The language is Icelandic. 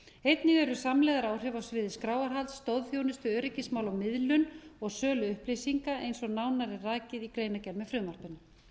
einnig eru samlegðaráhrif á sviði skráarhalds stoðþjónustu öryggismála og miðlun og sölu upplýsinga eins og nánar er rakið í greinargerð með frumvarpinu